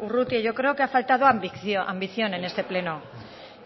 urrutia yo creo que ha faltado ambición en este pleno